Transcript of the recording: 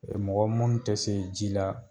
mɔgɔ munn tɛ se ji la